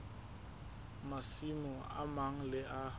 masimo a mang le a